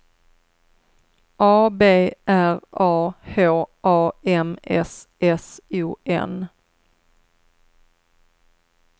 A B R A H A M S S O N